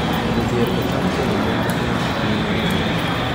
Jodhier otam kendo mon mang'eny e piny Naijeria